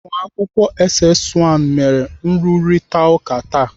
Ụmụakwụkwọ SS 1 mere nrụrịtaụka taa.